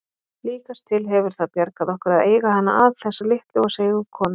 Líkast til hefur það bjargað okkur að eiga hana að, þessa litlu og seigu konu.